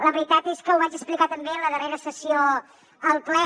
la veritat és que ho vaig explicar també en la darrera sessió al ple